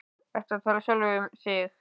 Ertu að tala við sjálfa þig?